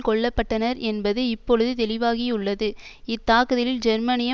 கொல்ல பட்டனர் என்பது இப்பொழுது தெளிவாகியுள்ளது இத்தாக்குதலில் ஜெர்மனிய